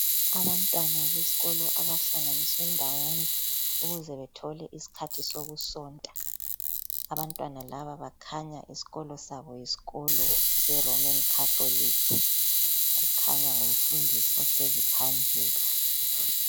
Abantwana besikolo abahlanganiswe ndawonye ukuze bethole isikhathi sokusonta, abantwana laba bakhanya esikolo sabo yisikolo seroman catholic. Kukhanya ngumfundisi ohlezi phambili.